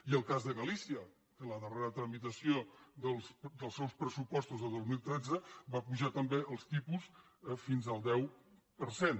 i el cas de galícia que en la darrera tramitació dels seus pressupostos del dos mil tretze va apujar també els tipus fins al deu per cent